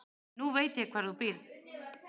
Nú veit ég hvar þú býrð.